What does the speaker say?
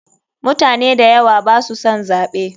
Mutane dayawa baso son zaɓe.